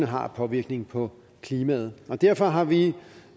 har af påvirkning på klimaet derfor har vi